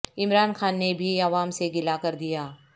عمران خان نے بھی عوا م سے گلہ کر دیا